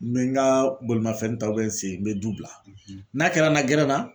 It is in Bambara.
N bɛ n ka bolimafɛn ta n sen n bɛ du bila n'a kɛra n na gɛrɛn na